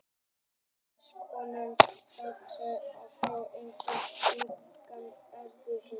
Áhuga hans á könnun norðurslóða var þó engan veginn fullnægt, norðurpóllinn heillaði.